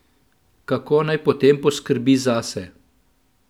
Kako naj potem poskrbi zase?